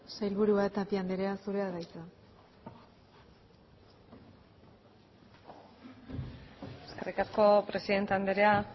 sailburua tapia andrea zurea da hitza eskerrik asko presidente andrea